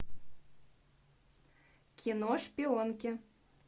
кино шпионки